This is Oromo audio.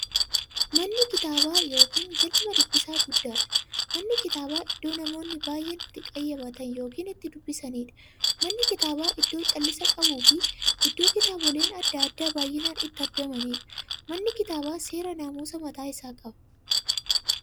Mana kitaabaa yookiin galma dubbisaa guddaadhan. Manni kitaabaa iddoo namoonni baay'een itti qayyabatan yookiin itti dubbisaniidha. Manni kitaabaa iddoo callisa qabufi iddoo kitaaboleen adda addaa baay'inaan itti argamaniidha. Manni kitaabaa seera namusaa mataasaa qaba.